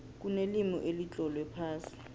kunelimi elitlolwe phasi